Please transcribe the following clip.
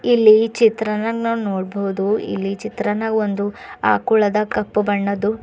ಇಲ್ಲಿ ಈ ಚಿತ್ರನ್ಯಾಗ ನಾವು ನೋಡಬಹುದು ಇಲ್ಲಿ ಚಿತ್ರನ್ಯಾಗ್ ಒಂದು ಅಕುಳದ ಕಪ್ಪು ಬಣ್ಣದ್ದು.